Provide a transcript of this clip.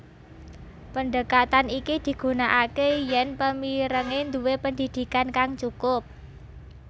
Pendekatan iki digunakake yen pemirenge duwé pendidikan kang cukup